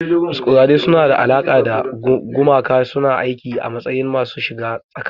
Masquerades suna da alaƙa da gumaka, suna aiki a matsayin masu shiga tsakani.